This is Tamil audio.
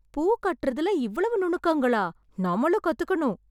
பூ கட்டுறதுல இவ்வளவு நுணுக்கங்களா? நம்மளும் கத்துக்கணும்.